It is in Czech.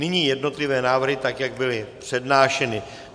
Nyní jednotlivé návrhy, tak jak byly přednášeny.